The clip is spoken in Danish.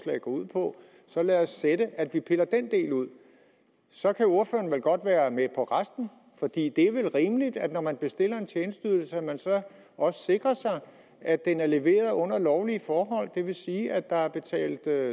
ud på så lad os sætte at vi piller den del ud så kan ordføreren vel godt være med på resten for det er vel rimeligt at når man bestiller en tjenesteydelse sikrer man sig også at den er leveret under lovlige forhold det vil sige at der er betalt